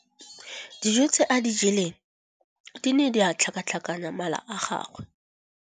Dijô tse a di jeleng di ne di tlhakatlhakanya mala a gagwe.